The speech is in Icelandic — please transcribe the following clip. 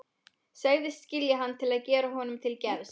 Segist skilja hann til að gera honum til geðs.